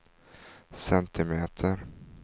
centimeter